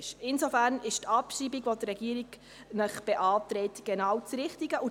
Die Abschreibung, welche die Regierung beantragt, entspricht deshalb genau dem richtigen Vorgehen.